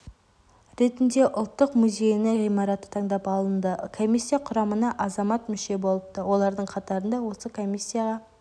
ретінде ұлттық музейінің ғимараты таңдап алынды комиссия құрамына азамат мүше болыпты олардың қатарында осы комиссияға